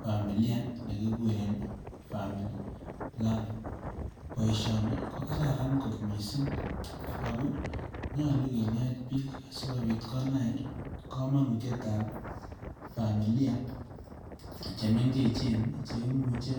familia nekiguren family planning. Boisioni ko kararan kot mising ago nyalu kinet biik asigopit konai komanitietab familia chemengechen cheimuche